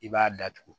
I b'a datugu